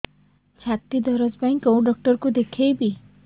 ଛାତି ଦରଜ ପାଇଁ କୋଉ ଡକ୍ଟର କୁ ଦେଖେଇବି